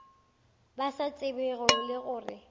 ba sa tsebego le gore